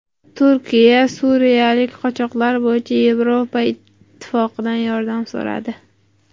Turkiya suriyalik qochoqlar bo‘yicha Yevropa Ittifoqidan yordam so‘radi.